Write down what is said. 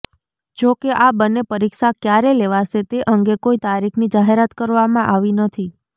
જો કે આ બંન્ને પરીક્ષા ક્યારે લેવાશે તે અંગે કોઈ તારીખની જાહેરાત કરવામાં આવી નથી